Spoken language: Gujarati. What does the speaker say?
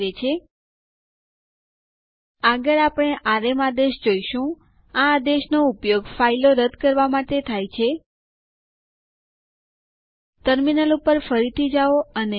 તે શોધવા માટે આપણે ટાઈપ કરીશું id space n space u અહીં ટર્મિનલ ઉપર અને Enter ડબાઓ